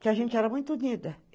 Que a gente era muito unida.